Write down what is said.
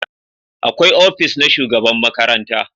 Akwai ofis na shugaban makaranta